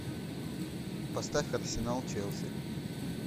поставь арсенал челси